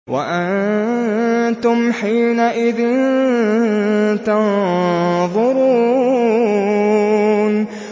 وَأَنتُمْ حِينَئِذٍ تَنظُرُونَ